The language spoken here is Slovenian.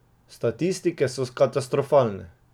Statistike so katastrofalne!